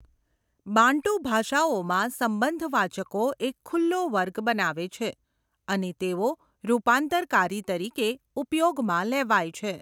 Bantu ભાષાઓમાં, સંબંધવાચકો એક ખુલ્લો વર્ગ બનાવે છે અને તેઓ રૂપાંતરકારી તરીકે ઉપયોગમાં લેવાય છે.